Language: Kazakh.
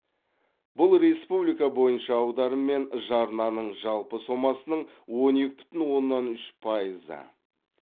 бұл республика бойынша аударым мен жарнаның жалпы сомасының он екі бүтін оннан үш пайызы